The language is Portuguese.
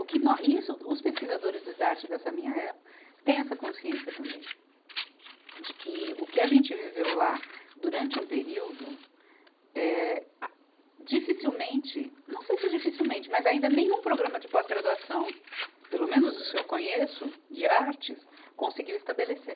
O que mo, isso os pesquisadores do idarte dessa minha época têm essa consciência também, de que o que a gente viveu lá durante um período, eh, a, dificilmente, não sei se é dificilmente, mas ainda nenhum programa de pós-graduação, pelo menos os que eu conheço de artes, conseguiu estabelecer.